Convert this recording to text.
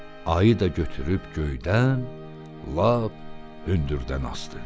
Ayı da götürüb göydən lap hündürdən asdı.